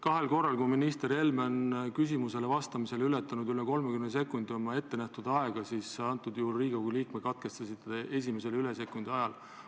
Kahel korral on minister Helme küsimusele vastamisel ületanud ettenähtud aega üle 30 sekundi, antud juhul te katkestasite Riigikogu liiget esimesel sekundil, kui ta aega ületas.